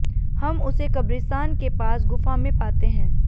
हम उसे कब्रिस्तान के पास गुफा में पाते हैं